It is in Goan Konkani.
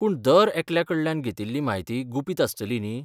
पूण दर एकल्या कडल्यान घेतिल्ली म्हायती गुपीत आसतली न्ही?